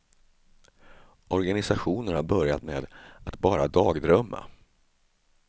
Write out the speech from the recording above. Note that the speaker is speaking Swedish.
Organisationen har börjat med att bara dagdrömma.